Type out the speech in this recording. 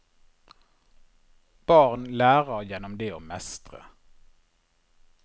Barn lærer gjennom det å mestre.